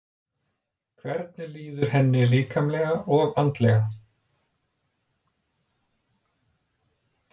Hvernig líður henni líkamlega og andlega?